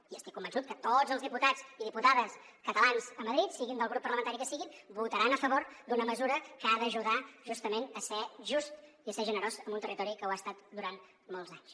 i estic convençut que tots els diputats i diputades catalans a madrid siguin del grup parlamentari que siguin votaran a favor d’una mesura que ha d’ajudar justament a ser just i a ser generós amb un territori que ho ha estat durant molts anys